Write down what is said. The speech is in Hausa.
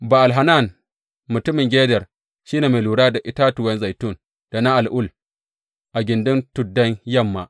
Ba’al Hanan mutumin Geder shi ne mai lura da itatuwan zaitun da na al’ul a gindin tuddan yamma.